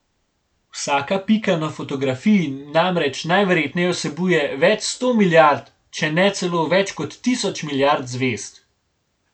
Vsaka pika na fotografiji namreč najverjetneje vsebuje več sto milijard, če ne celo več kot tisoč milijard zvezd.